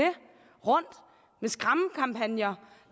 rundt med skræmmekampagner